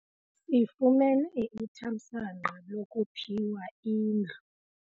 Sifumene ithamsanqa lokuphiwa indlu.